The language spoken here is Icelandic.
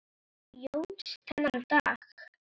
Jóns þennan dag.